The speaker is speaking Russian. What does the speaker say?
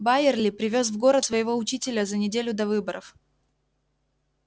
байерли привёз в город своего учителя за неделю до выборов